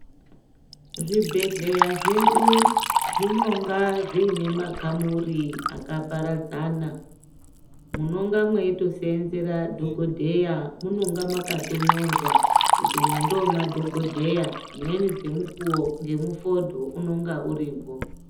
Zvibhedhlera zvedu zvinonga zviine makamuri akaparadzana. Munonga mweitoseenzera dhokodheya, munonga makatonyorwa kuti umu ndomadhokodheya, dzimweni dzemukuwo, ngemufodho unonga utoripo.